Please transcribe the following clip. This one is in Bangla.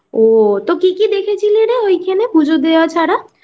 ও তো কি কি দেখেছিলি ঐখানে পুজো দেওয়া ছাড়া?